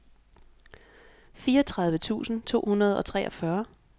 fireogtredive tusind to hundrede og treogfyrre